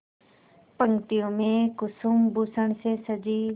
पंक्तियों में कुसुमभूषण से सजी